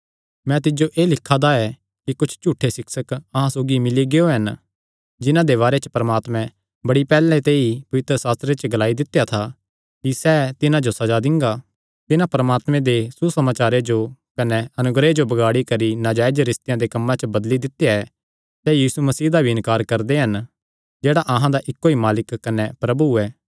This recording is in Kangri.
मैं तिज्जो एह़ लिखा दा ऐ कि कुच्छ झूठे सिक्षक अहां सौगी मिल्ली गियो हन जिन्हां दे बारे च परमात्मे बड़ी पैहल्ले ते ई पवित्रशास्त्रे च ग्लाई दित्या था कि सैह़ तिन्हां जो सज़ा दिंगा तिन्हां परमात्मे दे प्यारे दे सुसमाचारे जो कने अनुग्रह जो बगाड़ी करी नाजायज रिस्तेयां दे कम्मां च बदली दित्या ऐ सैह़ यीशु मसीह दा भी इन्कार करदे हन जेह्ड़ा अहां दा इक्को ई मालक कने प्रभु ऐ